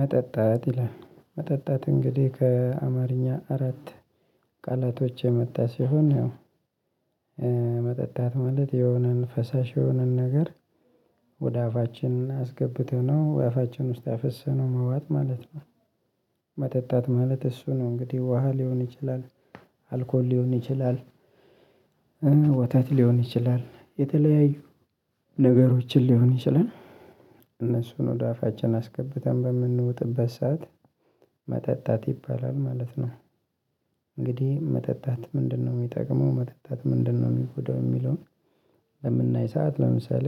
መጠጣት ይላል መጠጣት እንግዲህ ከአማርኛ አራት ቃላቶች የመጣ ሲሆን መጠጣት ማለት የሆነን ፈሳሽ የሆነን ነገር ወደ አፋችን አስገብተነው ወደ አፋችን ውስጥ አፍሰነው መዋጥ ማለት ነው። መጠጣት ማለት እሱ ነው እንግዲህ ውሃ ሊሆን ይችላል አልኮል ሊሆን ይችላል ወተት ሊሆን ይችላል የተለያዩ ነገሮችን ሊሆን ይችላል እነሱን ወደ አፋችን አስገብተን በምንወጥበት ሰዓት መጠጣት ይባላል ማለት ነው። እንግዲህ መጠጣት ምንድነው የሚጠቅመው መጠጣት ምንድነው የሚጎዳው የሚለውን? በምናይ ሰዓት ለምሳሌ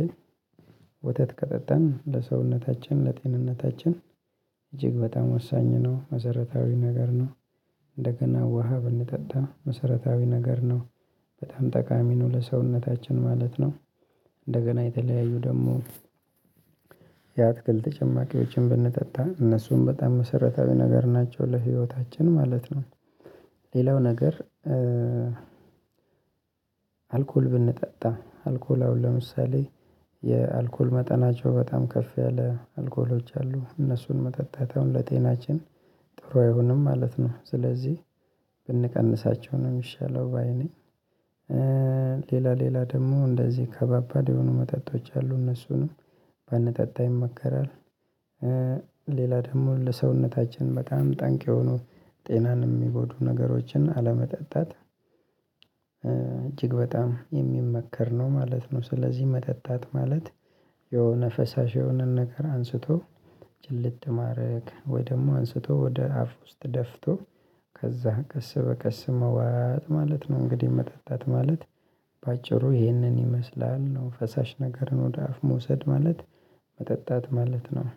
ወተት ከጠጣን ለሰውነታችን ለጤንነታችን እጅግ በጣም ወሳኝ ነው መሰረታዊ ነገር ነው። እንደገና ውሃ ብንጠጣ መሰረታዊ ነገር ነው። በጣም ጠቃሚ ነው ለሰውነታችን ማለት ነው። እንደገና የተለያዩ ደግሞ የአትክልት ጭማቂዎችን ብንጠጣ እነሱም በጣም መሰረታዊ ነገር ናቸው ለህይወታችን ማለት ነው። ሌላው ነገር። አልኮል ብንጠጣ አልኮል አሁን ለምሳሌ የአልኮል መጠናቸው በጣም ከፍ ያለ አልኮሎች አሉ እነሱን መጠጣት አሁን ለጤናችን ጥሩ አይሆንም ማለት ነው። ስለዚህ ብንቀንሳቸው ነው የሚሻለው ባይ ነኝ። ሌላ ሌላ ደግሞ እንደዚህ ከባባድ የሆኑ መጠጦች አሉ እነሱንም ባንጠጣ ይመከራል። ሌላ ደግሞ ለሰውነታችን በጣም ጠንቅ የሆኑ ጤናን የሚጎዱ ነገሮችን አለመጠጣት። እጅግ በጣም የሚመከር ነው ማለት ነው። ስለዚህ መጠጣት ማለት የሆነ ፈሳሽ የሆነን ነገር አንስቶ ጭልጥ ማድረግ ወይ ደግሞ አንስቶ ወደ አፍ ውስጥ ደፍቶ ከዛ ቀስበቀስ መዋጥ ማለት ነው። እንግዲህ መጠጣት ማለት በአጭሩ ይህንን ይመስላል ነው። ፈሳሽ ነገርን ወደ አፍ መውሰድ ማለት መጠጣት ማለት ነው።